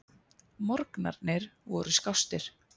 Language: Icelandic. Morgnarnir voru skástir.